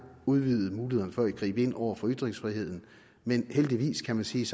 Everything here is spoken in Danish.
udvide mulighederne for at gribe ind over for ytringsfriheden men heldigvis kan man sige